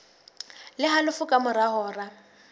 le halofo ka mora hora